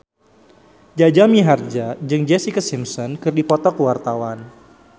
Jaja Mihardja jeung Jessica Simpson keur dipoto ku wartawan